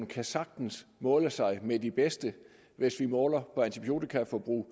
kan sagtens måle sig med de bedste hvis vi måler på antibiotikaforbruget og